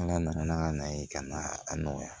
An ka na n'an ka na ye ka na a nɔgɔya